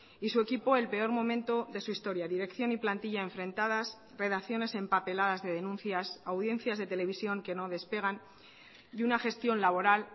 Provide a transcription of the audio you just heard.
y su equipo el peor momento de su historia dirección y plantilla enfrentadas redacciones empapeladas de denuncias audiencias de televisión que no despegan y una gestión laboral